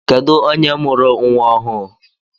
Kedụ onye mụrụ nwa ọhụụ?